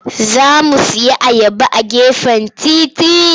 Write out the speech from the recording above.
Za mu sayi ayaba a gefen titi.